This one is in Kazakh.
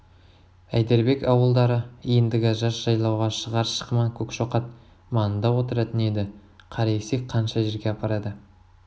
әйдербек ауылдары ендігі жаз жайлауға шығар шықыман көкшоқат маңында отыратын еді қара есек қанша жерге апарады